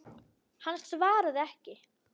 Hann svaraði ekki.